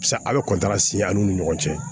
Sisan a' bɛ siyɛn an'u ni ɲɔgɔn cɛ